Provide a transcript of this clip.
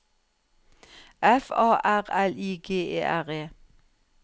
F A R L I G E R E